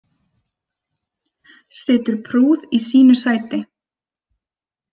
Situr prúð í sínu sæti.